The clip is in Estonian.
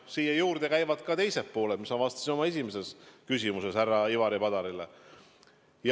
Siin on ka teised pooled, millele ma viitasin oma esimeses vastuses härra Ivari Padarile.